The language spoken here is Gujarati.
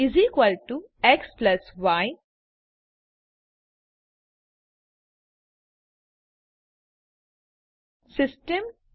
Result xy system